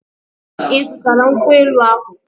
Ị zụtara nkwụ elu ahụ?